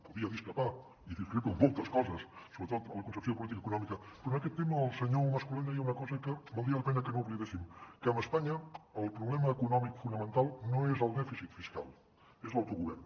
podia discrepar i discrepo en moltes coses sobretot en la concepció de política econòmica però en aquest tema el senyor mas colell deia una cosa que valdria la pena que no oblidéssim que amb espanya el problema econòmic fonamental no és el dèficit fiscal és l’autogovern